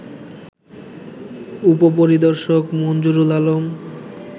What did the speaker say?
উপপরিদর্শক মঞ্জুরুল আলম